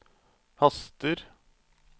haster